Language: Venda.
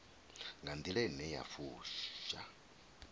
nga nḓila ine ya fusha